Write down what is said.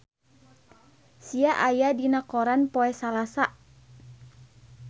Sia aya dina koran poe Salasa